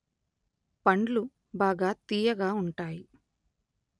పండ్లు బాగా తీయగా ఉంటాయి